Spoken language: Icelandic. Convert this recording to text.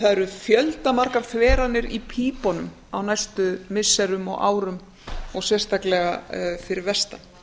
það eru fjöldamargar þveranir í pípunum á næstu missirum og árum og sérstaklega fyrir vestan